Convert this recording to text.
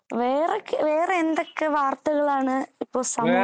വേറെ വേറെ എന്തൊക്ക വാർത്തകളാണ് ഇപ്പൊ സമൂഹത്തിൽ നടന്നുകൊണ്ടിരിക്കുന്നത്